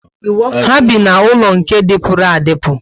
Ha bi n'ulo nke dipuru adipu